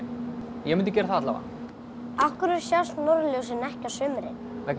ég mundi gera það allavega af hverju sjást norðurljósin ekki á sumrin vegna þess